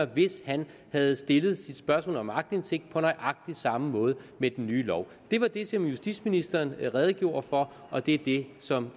hvis han havde stillet sit spørgsmål om aktindsigt på nøjagtig samme måde med den nye lov det var det som justitsministeren redegjorde for og det er det som